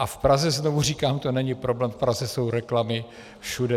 A v Praze, znovu říkám, to není problém, v Praze jsou reklamy všude.